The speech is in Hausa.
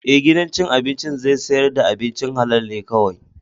Ee, gidan cin abinci zai sayar da abincin halal ne kawai.